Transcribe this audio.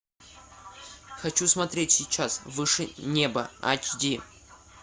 хочу смотреть сейчас выше неба ач ди